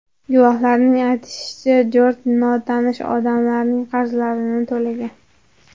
Guvohlarning aytishicha, Jorj notanish odamlarning qarzlarini to‘lagan.